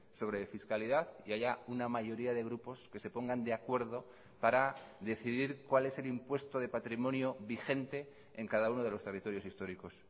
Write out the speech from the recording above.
sobre fiscalidad y haya una mayoría de grupos que se pongan de acuerdo para decidir cuál es el impuesto de patrimonio vigente en cada uno de los territorios históricos